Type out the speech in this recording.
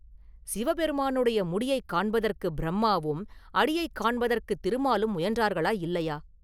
சிவபெருமானுடைய முடியைக் காண்பதற்கு பிரம்மாவும், அடியைக் காண்பதற்குத் திருமாலும் முயன்றார்களா, இல்லையா?